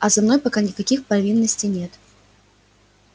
а за мной пока никаких провинностей нет